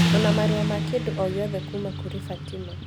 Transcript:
ona marũa ma kĩndũ o gĩothe kuuma kũrĩ Fatima